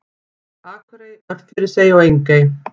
Akurey, Örfirisey og Engey.